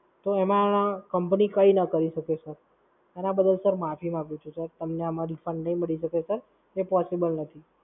તો એમાં Company કઈ ના કરી શકે Sir એના બદલ Sir માફી માંગુ છું Sir. તમને આમાં Refund નહીં મળી શકે sir. એ Possible નથી.